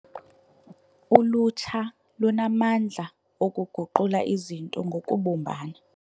Ulutsha lunamandla okuguqula izinto ngokubumbana.